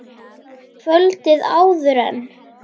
Kvöldið áður en